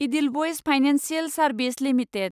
Edelweiss financial service limited